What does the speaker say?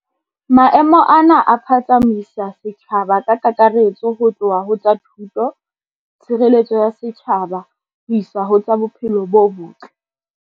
Maemo ana a phatsamisa setjhaba ka kakaretso ho tloha ho tsa thuto, tshireletso ya setjhaba ho isa ho tsa bophelo bo botle.